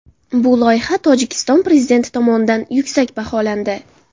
Bu loyiha Tojikiston prezidenti tomonidan yuksak baholandi.